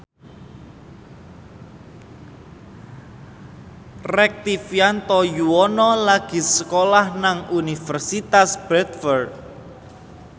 Rektivianto Yoewono lagi sekolah nang Universitas Bradford